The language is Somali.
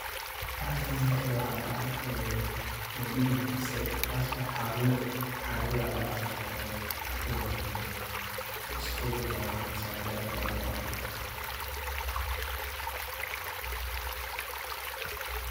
Bahashan magaceeda waxaa la dhaha ee bombi mise xaar wade, xaar wade ba ladhaha bahashan magaceeda shaqadeeda waa waxan bahalkan ay wado camal.